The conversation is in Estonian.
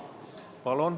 Jaa.